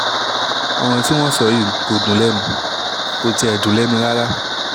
ọ̀rọ̀ tí wọ́n sọ yìí kò dùn lẹ́nu kò tiẹ̀ dùn lẹ́nu rárá